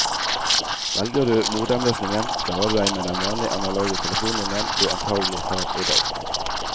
Velger du modemløsningen, klarer du deg med den vanlige analoge telefonlinjen du antagelig har i dag.